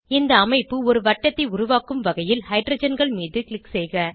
இந்த அமைப்பு ஒரு வட்டத்தை உருவாக்கும் வகையில் ஹைட்ரஜன்கள் மீது க்ளிக் செய்க